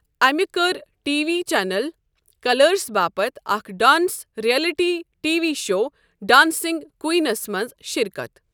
امہ كٔر T V channel Colors باپتھ اکھ dance reality T V show dancing queens منٛز شركتھ۔